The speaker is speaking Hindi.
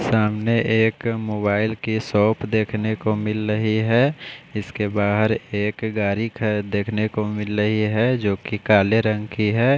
सामने एक मोबाइल की शॉप देखने को मिल रही है इसके बहार एक गाड़ी देखने को मिल रही है जो की काले रंग की है।